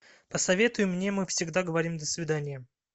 посоветуй мне мы всегда говорим до свидания